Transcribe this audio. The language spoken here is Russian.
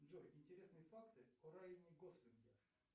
джой интересные факты о райане гослинге